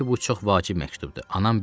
Dedim ki, bu çox vacib məktubdur.